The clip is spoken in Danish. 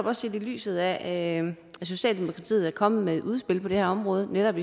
også set i lyset af at socialdemokratiet er kommet med et udspil på det her område om netop